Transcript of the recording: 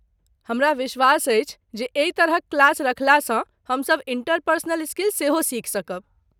हमरा विश्वास अछि जे एहि तरहक क्लास रखलासँ हम सभ इंटरपर्सनल स्किल सेहो सिखि सकब।